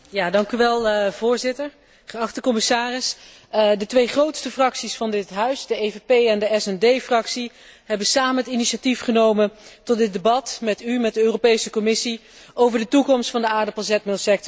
Voorzitter, geachte commissaris, de twee grootste fracties van dit Huis, de EVP en de SD Fractie, hebben samen het initiatief genomen tot dit debat met u, met de Europese Commissie, over de toekomst van de aardappelzetmeelsector in Europa.